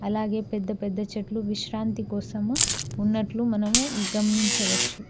అలాగే పెద్ద పెద్ద చెట్లు విశ్రాంతి కోసము ఉన్నట్లు మనము గమనించవచ్చు.